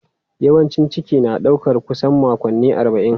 Yawancin ciki na ɗaukar kusan makonni arba'in.